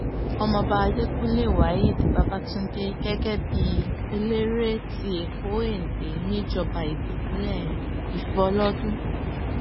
ọmọọba adẹkùnlé waheed babatun gẹ́gẹ́ bíi eléré ti èkó èndé níjọba ìbílẹ̀ ìfọlọ́dún